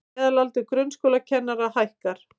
Meðalaldur grunnskólakennara hækkar